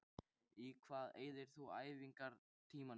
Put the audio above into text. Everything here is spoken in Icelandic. Í hvað eyðir þú æfingartímanum þínum?